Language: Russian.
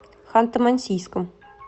ханты мансийском